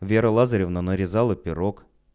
вера лазаревна нарезала пирог